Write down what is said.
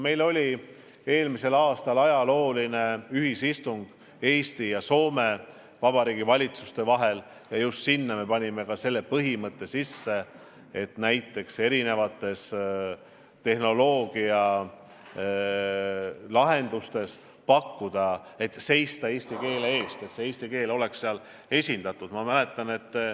Meil oli eelmisel aastal ajalooline Eesti ja Soome vabariigi valitsuse ühisistung ja seal me kiitsime heaks ka selle põhimõtte, et erinevates tehnoloogialahendustes tuleb seista oma keele eest.